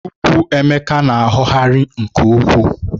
Ukwú Emeka na-aghọghari nke ukwuu